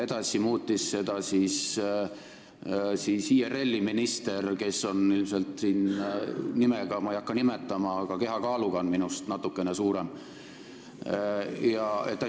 Edaspidi muutis seda poliitikat IRL-i minister, kelle nime ma ei hakka nimetama, lihtsalt sellepärast, et ta ei saaks mulle vastata.